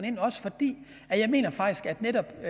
ind også fordi jeg mener at netop i